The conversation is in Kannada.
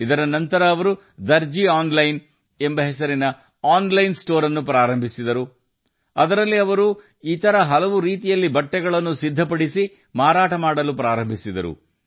ಇದರ ನಂತರ ಅವರು ತಮ್ಮ ದರ್ಜಿ ಆನ್ಲೈನ್ ಆನ್ಲೈನ್ ಸ್ಟೋರ್ ಅನ್ನು ಪ್ರಾರಂಭಿಸಿದರು ಅದರಲ್ಲಿ ಅವರು ಅನೇಕ ರೀತಿಯ ಹೊಲಿದ ಬಟ್ಟೆಗಳನ್ನು ಮಾರಾಟ ಮಾಡಲು ಪ್ರಾರಂಭಿಸಿದರು